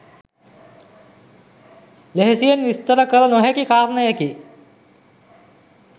ලෙහෙසියෙන් විස්තර කළ නොහැකි කාරණයකි